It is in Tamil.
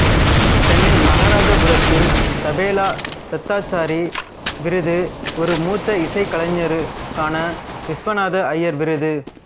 சென்னை மகாராஜாபுரத்தில் தபேலா தத்தாச்சாரி விருது ஒரு மூத்த இசைக்கலைஞருக்கான விஸ்வநாத ஐயர் விருது